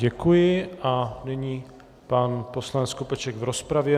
Děkuji a nyní pan poslanec Skopeček v rozpravě.